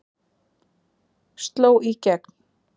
Sló í gegn